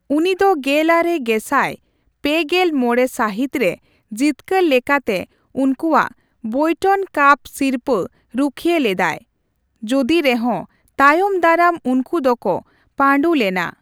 ᱩᱱᱤ ᱫᱚ ᱜᱮᱞᱟᱨᱮ ᱜᱮᱥᱟᱭ ᱯᱮᱜᱮᱞ ᱢᱚᱲᱮ ᱥᱟᱹᱦᱤᱛ ᱨᱮ ᱡᱤᱛᱠᱟᱹᱨ ᱞᱮᱠᱟᱛᱮ ᱩᱱᱠᱩᱣᱟᱜ ᱵᱮᱭᱴᱚᱱ ᱠᱟᱯ ᱥᱤᱨᱚᱯᱟ ᱨᱩᱠᱷᱤᱭᱟᱹ ᱞᱮᱫᱟᱭ, ᱡᱩᱫᱤ ᱨᱮᱦᱚᱸ ᱛᱟᱭᱚᱢ ᱫᱟᱨᱟᱢ ᱩᱱᱠᱩ ᱫᱚᱠᱚ ᱯᱟᱹᱰᱩ ᱞᱮᱱᱟ ᱾